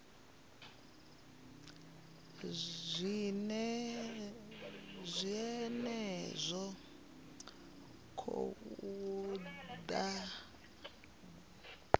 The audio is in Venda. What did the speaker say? zwine zwa khou ḓa nga